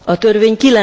a törvény